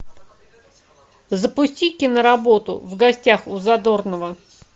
запусти киноработу в гостях у задорнова